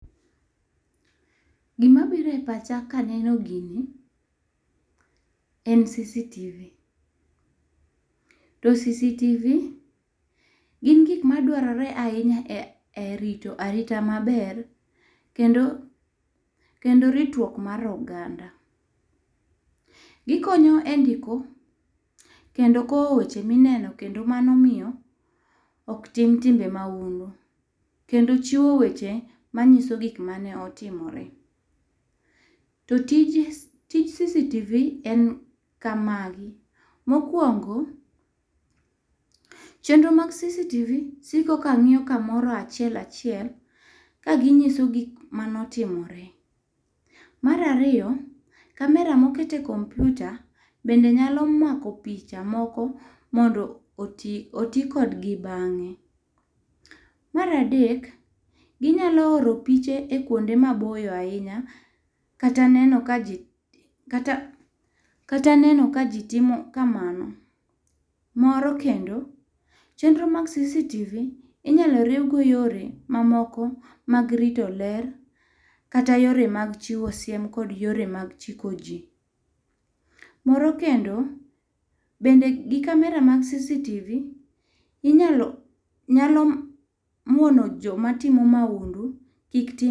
Gi ma biro e pacha ka aneno gini en cctv to cctv gin gik ma dwarore ahinya e rito arita maber kendo ritruok mar oganda. Gi konyo endiko kendo kowo weche ma ineno kendo mano omiyo ok tim timbe maundu kendo chiwo weche ma ng'iso gik mane otimore. To tij cctv en kama gi mokuongo, chenro mar cctv siko ka ng'iyo ka moro achiel achiel ka ng'iso gik mane otimore. Mar ariyo, camera ma oket e kompyuta bende nyalo mako picha moko mondo oti kod gi bang'e. Mar adek, gi nyalo oro piche e kuonde ma boyo ahinya kata neno ka ji kata kata neno ka ji timo ka mano. Moro kendo, chenro mag cctv inyalo riw go yore ma moko mag rito ler kata yore mag chiwo siem kata yore mag chiko ji. MorO kendo bende gi camera mag cctv inyalo nyalo muono jo ma timo maundu kik tim.